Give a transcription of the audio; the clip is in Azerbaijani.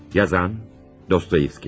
Müəllif: Dostoyevski.